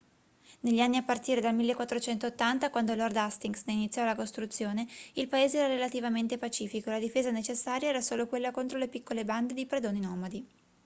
negli anni a partire dal 1480 quando lord hastings ne iniziò la costruzione il paese era relativamente pacifico e la difesa necessaria era solo quella contro le piccole bande di predoni nomadi